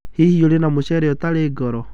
Hihi ũrĩ na mũcere ũtarĩ goro